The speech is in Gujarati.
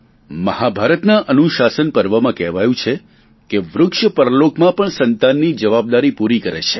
મહાભારતના અનુશાસન પર્વમાં કહેવાયું છે કે વૃક્ષ પરલોકમાં પણ સંતાનની જવાબદારી પૂરી કરે છે